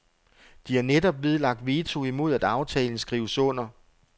De har netop nedlagt veto imod at aftalen skrives under.